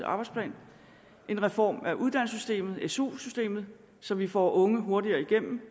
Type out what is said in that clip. arbejdsplan en reform af uddannelsessystemet su systemet så vi får unge hurtigere igennem